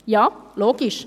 Ja, logisch!